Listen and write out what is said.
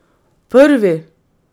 Prvi!